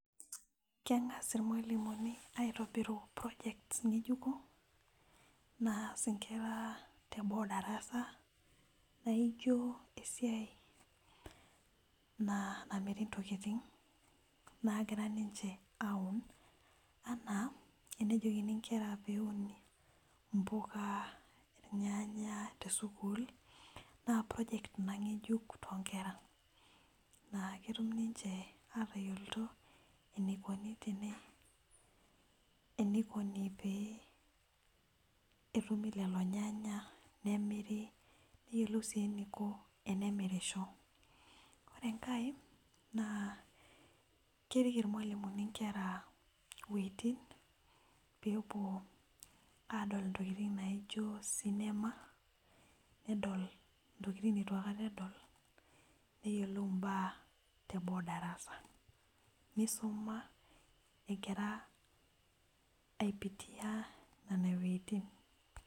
Keng'as ilmalimuni aitobiru projects ngejuko naas nkera teboo darasa naijo esiai namiri ntokitin naagira ninche aun, anaa tenejokini nkera peun mpuka, irnyanya tesukuuk naa project Ina ngejuk too nkera naa ketum ninche aatayiolito, enikoni pee, etumi lelo nyanya, nemiri, neyiolou sii eniko, enemirisho. ore enkae keriki ilmalimuni, nkera wuejitin peepuo adol ntokitin naijo cinema nedol ntokitin neitu aikata edol. neyiolou mbaa teboo darasa, nisuma egira aipitis nene wuejitin.